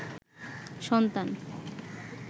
সন্তান